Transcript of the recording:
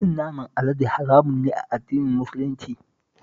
Cin naman alade haramun ne a addinin Musulunci